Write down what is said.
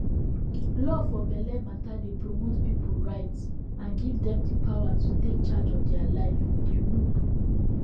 law for belle matter dey promote people rights and give dem the power to take charge of their lifeyou know